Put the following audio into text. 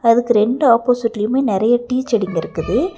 அதுக்கு ரெண்டு ஆப்போசிட்லியுமே நெறைய டீ செடிங்க இருக்குது.